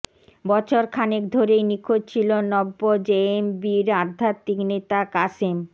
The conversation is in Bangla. বছরখানেক ধরেই নিখোঁজ ছিল নব্য জেএমবির আধ্যাত্মিক নেতা কাশেম